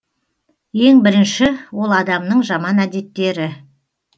ең бірінші ол адамның жаман әдеттері